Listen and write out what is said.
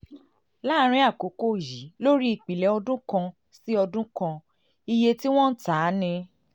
láàárín àkókò yìí lórí ìpìlẹ̀ ọdún kan sí kan sí ọdún kan iye tí wọ́n ń tà ní